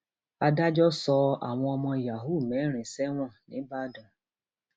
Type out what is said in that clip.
adájọ sọ àwọn ọmọ yahoo mẹrin sẹwọn nìbàdàn